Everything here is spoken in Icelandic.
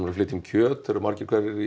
að flytja inn kjöt eru margir hverjir